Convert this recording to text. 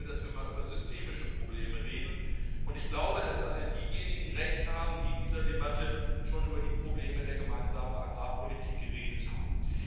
Ich bin dafür, dass wir mal über systemische Probleme reden, und ich glaube, dass alle diejenigen Recht haben, die in dieser Debatte schon über die Probleme der Gemeinsamen Agrarpolitik geredet haben.